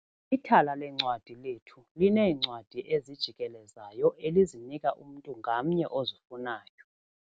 Ithala leencwadi lethu lineencwadi ezijikelezayo elizinika umntu ngamnye ozifunayo.